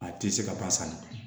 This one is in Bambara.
A tɛ se ka taa san